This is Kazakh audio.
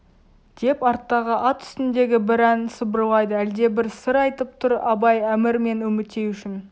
деп арттағы ат үстіндегі бір ән сыбырлайды әлдебір сыр айтып тұр абай әмір мен үмітей үшін